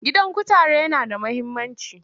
Gidan kutare yana da muhimmanci.